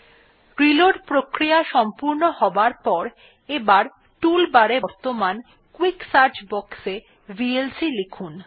reload প্রক্রিয়া সম্পূর্ণ হবার পর এবার টুল বার এ বর্তমান কুইক সার্চ বক্সে ভিএলসি লিখুন